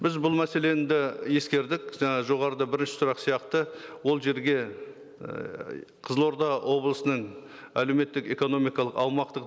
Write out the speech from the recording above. біз бұл мәселені де ескердік жаңа жоғарыда бірінші сұрақ сияқты ол жерге ыыы қызылорда облысының әлеуметтік экономикалық аумақтық